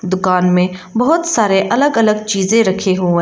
दुकान में बहुत सारे अलग अलग चीजें रखे हुए--